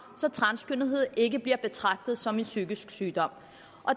så transkønnethed ikke blev betragtet som en psykisk sygdom